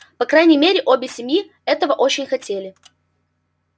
по крайней мере обе семьи этого очень хотели